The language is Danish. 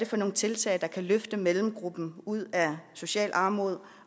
for nogle tiltag der kan løfte mellemgruppen ud af social armod